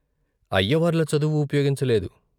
అయ్యవార్ల చదువు ఉపయోగించ లేదు.